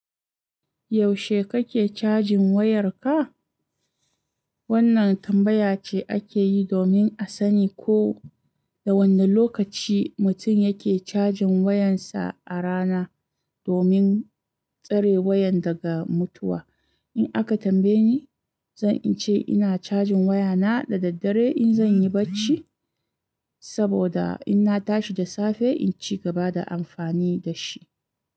Yaushe kake cajin wayarka? Wannan tambaya ce ake yi domin a sani ko da wane lokaci mutum yake cajin wayarsa a rana domin tsare wayan daga mutuwa. In aka tambaye ni, zan ce ina cajin wayana da daddare in zan yi barci, saboda in na tashi da safe in ci gaba da amfani da shi.